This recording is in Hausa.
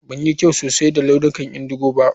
Ban yi kyau sosai da launukan indigo ba.